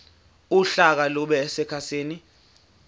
uhlaka lube sekhasini